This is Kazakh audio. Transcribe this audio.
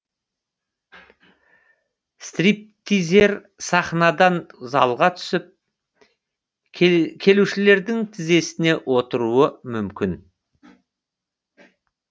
стриптизер сахнадан залға түсіп келушілердің тізесіне отыруы мүмкін